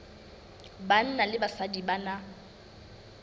banna le basadi ba na